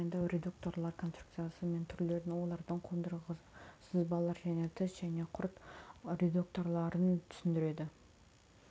тағайындау редукторлар конструкциясы мен түрлерін олардың қондырғы сызбалар және тіс және құрт редукторларын түсіндіреді